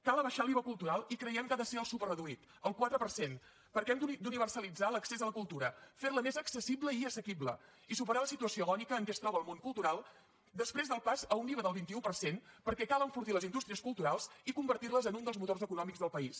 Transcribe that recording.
cal abaixar l’iva cultural i creiem que ha de ser el superreduït el quatre per cent perquè hem d’universalitzar l’accés a la cultura fer la més accessible i assequible i superar la situació agònica en què es troba el món cultural després del pas a un iva del vint un per cent perquè cal enfortir les indústries culturals i convertir les en un dels motors econòmics del país